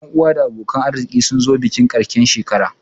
Ƴan uwa da abokan arziki sun zo bikin ƙarshen shekara